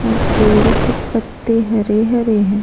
और पेड़ के पत्ते हरे हरे हैं।